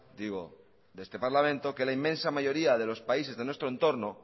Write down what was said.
digo de este parlamento que la inmensa mayoría de los países de nuestro entorno